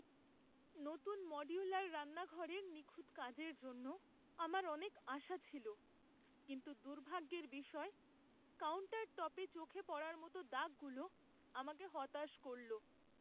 নতুন মডিউলার রান্নাঘরের নিখুঁত কাজের জন্য আমার অনেক আশা ছিল, কিন্তু দুর্ভাগ্যের বিষয়, কাউন্টারটপে চোখে পড়ার মতো দাগগুলো আমাকে হতাশ করল।